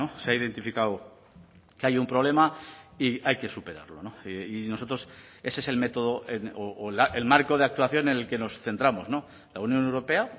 se ha identificado que hay un problema y hay que superarlo y nosotros ese es el método o el marco de actuación en el que nos centramos la unión europea